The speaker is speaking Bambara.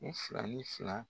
U fila ni fila